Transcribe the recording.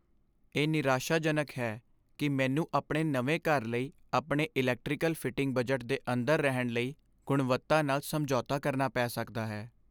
ਇਹ ਨਿਰਾਸ਼ਾਜਨਕ ਹੈ ਕਿ ਮੈਨੂੰ ਆਪਣੇ ਨਵੇਂ ਘਰ ਲਈ ਆਪਣੇ ਇਲੈਕਟ੍ਰੀਕਲ ਫਿਟਿੰਗ ਬਜਟ ਦੇ ਅੰਦਰ ਰਹਿਣ ਲਈ ਗੁਣਵੱਤਾ ਨਾਲ ਸਮਝੌਤਾ ਕਰਨਾ ਪੈ ਸਕਦਾ ਹੈ।